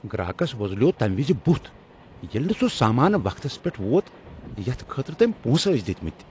گراکس وۄزلیو تمِہ وز بُتھ ییٚلہ نہٕ سُہ سامان وقتس پیٹھ ووت یتھ خٲطرٕ تٔمۍ پۄنسہٕ ٲسۍ دِتمتۍ۔